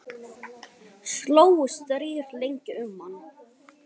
Slógust þrír lengi um hann.